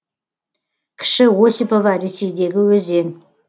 кіші осипова ресейдегі өзен